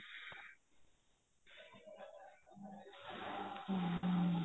ਹਮ